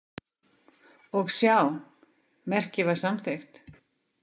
Og sjá, merkið var samþykkt!